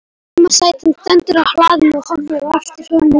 Heimasætan stendur á hlaðinu og horfir á eftir honum lengi.